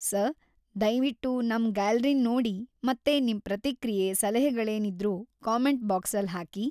Sir, ದಯ್ವಿಟ್ಟು ನಮ್ ಗ್ಯಾಲ್ರಿನ್ ನೋಡಿ ಮತ್ತೆ ನಿಮ್ ಪ್ರತಿಕ್ರಿಯೆ, ಸಲಹೆಗಳೇನಿದ್ರೂ ಕಾಮೆಂಟ್ ಬಾಕ್ಸಲ್ ಹಾಕಿ.